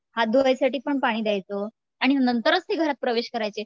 हात धुण्यासाठी पण पाणी द्यायचो आणि नंतरच ते घरात प्रवेश करायचे